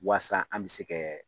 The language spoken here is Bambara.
Waasa an bɛ se ka